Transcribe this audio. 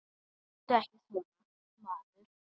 Láttu ekki svona, maður.